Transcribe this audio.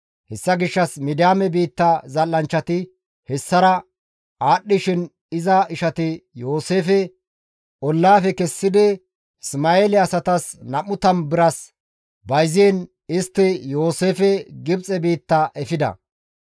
Hessa gishshas Midiyaame biitta zal7anchchati hessara aadhdhishin iza ishati Yooseefe ollaafe kessidi Isma7eele asatas 20 biras bayziin istti Yooseefe Gibxe biitta efida.